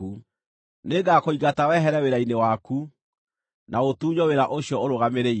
Nĩngakũingata wehere wĩra-inĩ waku na ũtunywo wĩra ũcio ũrũgamĩrĩire.